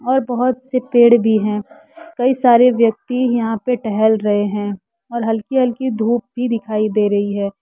और बहुत से पेड भी है कई सारे व्यक्ती यहा पे टहल रहे है और हल्की हल्की धूप भी दिखाई दे रही है।